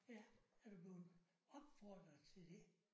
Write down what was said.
Ja er du blevet opfordret til det?